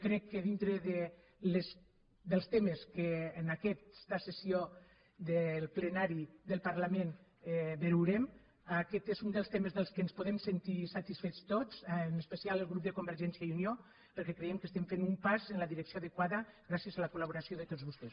crec que dintre dels temes que en aquesta sessió del plenari del parlament veurem aquest és un dels temes de què ens podem sentir satisfets tots en especial el grup de convergència i unió perquè creiem que estem fent un pas en la direcció adequada gràcies a la col·laboració de tots vostès